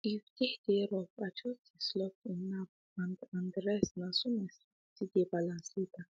if day dey rough i just dey slot in nap and and restna so my sleep still dey balance later